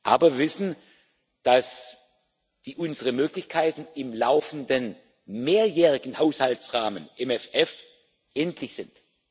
Aber wir wissen, dass unsere Möglichkeiten im laufenden mehrjährigen Haushaltsrahmen im FF endlich sind.